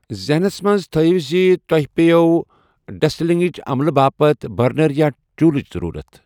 ذہنَس منٛز تھٲیِو زِ تۄہہِ پٮ۪وٚو ڈسٹلنگٕچ عملہٕ باپتھ برنر یا چولٕچ ضروٗرت۔